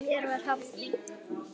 Mér var hafnað.